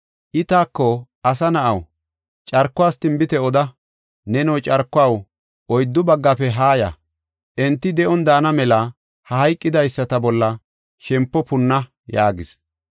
I taako, “Asa na7aw, carkuwas tinbite oda; neno, carkuwaw, oyddu baggafe haa ya; enti de7on daana mela ha hayqidaysata bolla shempo punna” yaagis.